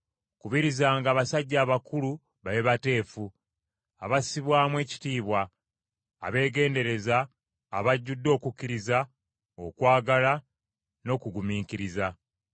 Kubirizanga abasajja abakulu babe bateefu, abassibwamu ekitiibwa, abeegendereza, abajjudde okukkiriza, okwagala n’okugumiikiriza.